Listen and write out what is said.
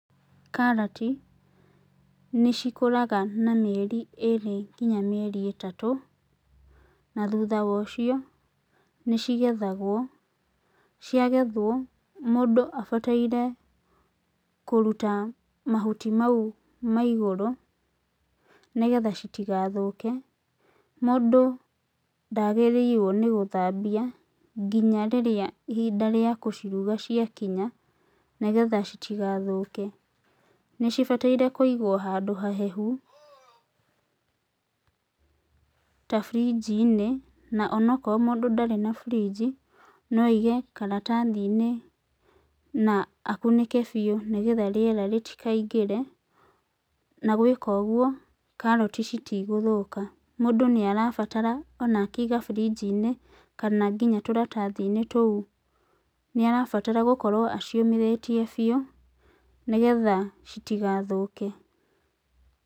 Karati nĩcikũraga na mĩeri ĩrĩ kinya ĩtatũ, na thutha wa ũcio nĩcigethagwo. Ciagethwo, mũndũ abataire kũruta mahuti mau ma igũrũ nĩgetha citigathũke. Mũndũ ndagĩrĩirwo nĩ gũthambia kinya rĩrĩa ihinda rĩa kũciruga ciakinya nĩgetha citigathũke. Nĩcibataire kũigwo handũ hahehu ta burinji-inĩ, na onokorwo mũndũ ndarĩ na burinji, no aige karatathi-inĩ na akunĩke biũ nĩgetha rĩera rĩtikaingĩre na gwĩka ũguo karati citigũthũka. Mũndũ nĩarabatara ona akĩiga burinji-inĩ kana nginya tũratathi-inĩ tũu, nĩarabatara gũkorwo aciũmithĩtie biũ nĩgetha citigathũke.